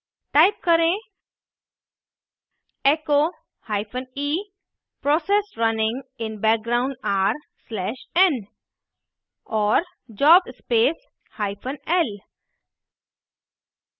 type करें echo hyphene process runing in background are slash n और jobs space hyphen l